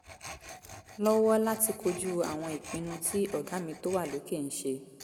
lọ́wọ́ láti kojú àwọn ìpinnu tí ọ̀gá mi tó wà lókè ń ṣe